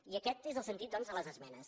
i aquest és el sentit doncs de les esmenes